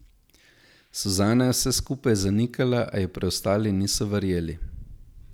Suzana je vse skupaj zanikala, a ji preostali niso verjeli.